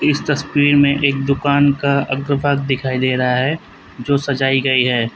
इस तस्वीर में एक दुकान का अग्र भाग दिखाई दे रहा है जो सजाई गई है।